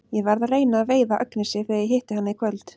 Ég verð að reyna að veiða Agnesi þegar ég hitti hana í kvöld.